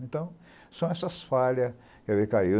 Então, são essas falhas que eu recaio.